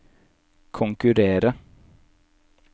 konkurrere